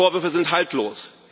Die Vorwürfe sind haltlos.